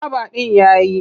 Kwaba ɗin ya yi.